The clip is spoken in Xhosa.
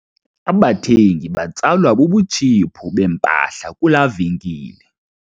Abathengi batsalwa bubutshiphu bempahla kulaa venkile.